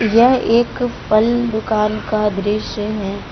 यह एक फल दुकान का दृश्य है।